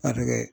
A bɛ kɛ